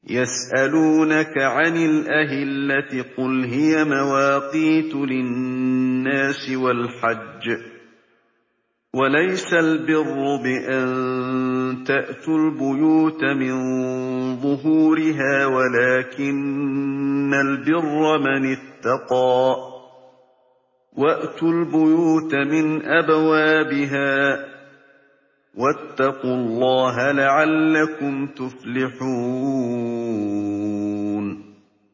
۞ يَسْأَلُونَكَ عَنِ الْأَهِلَّةِ ۖ قُلْ هِيَ مَوَاقِيتُ لِلنَّاسِ وَالْحَجِّ ۗ وَلَيْسَ الْبِرُّ بِأَن تَأْتُوا الْبُيُوتَ مِن ظُهُورِهَا وَلَٰكِنَّ الْبِرَّ مَنِ اتَّقَىٰ ۗ وَأْتُوا الْبُيُوتَ مِنْ أَبْوَابِهَا ۚ وَاتَّقُوا اللَّهَ لَعَلَّكُمْ تُفْلِحُونَ